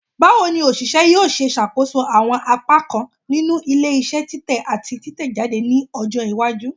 Bawo ni oṣiṣẹ yoo ṣe ṣakoso awọn apakan ninu ile-iṣẹ titẹ ati titẹjade ni ọjọ iwaju?